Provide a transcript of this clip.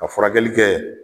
Ka furakɛli kɛ